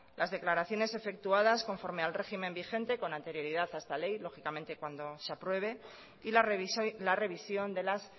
las declaraciones efectuadas conforme al régimen vigente con anterioridad a esta ley lógicamente cuando se apruebe y la revisión de las